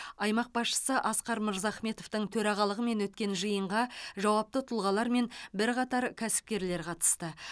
аймақ басшысы асқар мырзахметовтың төрағалығымен өткен жиынға жауапты тұлғалар мен бірқатар кәсіпкерлер қатысты